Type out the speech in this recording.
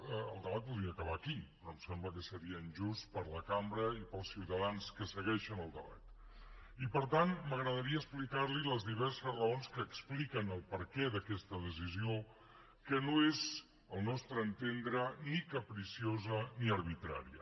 el debat podria acabar aquí però em sembla que seria injust per a la cambra i per als ciutadans que segueixen el debat per tant m’agradaria explicarli les diverses raons que expliquen el perquè d’aquesta decisió que no és al nostre entendre ni capriciosa ni arbitrària